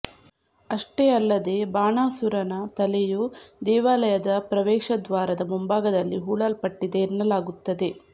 ಅಷ್ಟೇ ಅಲ್ಲದೆ ಬಾನಾಸುರನ ತಲೆಯು ದೇವಾಲಯದ ಪ್ರವೇಶದ್ವಾರದ ಮುಂಭಾಗದಲ್ಲಿ ಹೂಳಲ್ಪಟ್ಟಿದೆ ಎನ್ನಲಾಗುತ್ತದೆ